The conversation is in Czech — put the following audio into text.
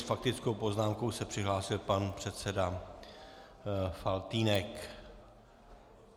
S faktickou poznámkou se přihlásil pan předseda Faltýnek.